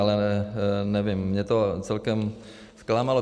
Ale nevím, mě to celkem zklamalo.